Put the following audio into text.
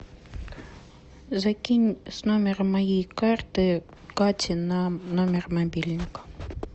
закинь с номера моей карты кате на номер мобильника